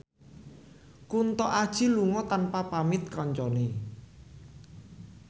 Kunto Aji lunga tanpa pamit kancane